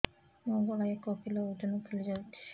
ମୋ ଗଳା ଏକ କିଲୋ ଓଜନ ଫୁଲି ଯାଉଛି